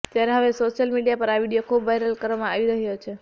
ત્યારે હવે social media પર આ વીડિયો ખુબ વાયરલ કરવામાં આવી રહ્યો છે